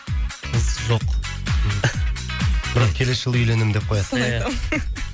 қыз жоқ бірақ келесі жылы үйленемін деп қоясыз иә соны айтамын